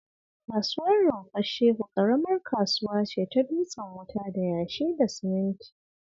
Kasuwar Rumfar Shehu ƙaramar kasuwa ce ta dutsen wuta da yashi da siminti